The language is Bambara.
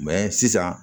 sisan